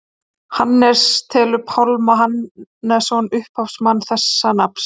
hannes telur pálma hannesson upphafsmann þessa nafns